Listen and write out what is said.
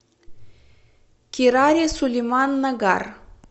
кирари сулеман нагар